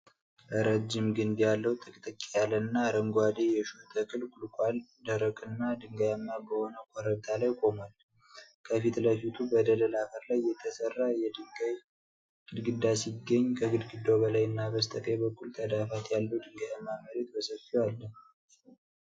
ረጅም ግንድ ያለው ጥቅጥቅ ያለና አረንጓዴ የሾህ ተክል (ቁልቁዋል) ደረቅና ድንጋያማ በሆነ ኮረብታ ላይ ቆሟል። ከፊት ለፊቱ በደለል አፈር ላይ የተሠራ የድንጋይ ግድግዳ ሲገኝ፣ ከግድግዳው በላይና በስተቀኝ በኩል ተዳፋት ያለው ድንጋያማ መሬት በሰፊው አለ።